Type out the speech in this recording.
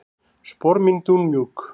Spor mín dúnmjúk.